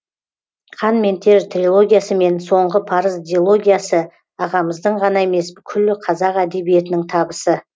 қан мен тер трилогиясы мен соңғы парыз дилогиясы ағамыздың ғана емес күллі қазақ әдебиетінің табысы